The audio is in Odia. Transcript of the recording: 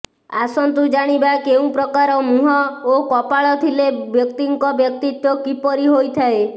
ଆସନ୍ତୁ ଜାଣିବା କେଉଁ ପ୍ରକାର ମୁହଁ ଓ କପାଳ ଥିଲେ ବ୍ୟକ୍ତିଙ୍କ ବ୍ୟକ୍ତିତ୍ୱ କିପରି ହୋଇଥାଏ